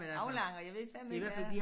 Aflange og jeg ved fandeme ikke hvad